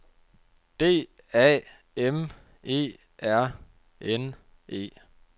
D A M E R N E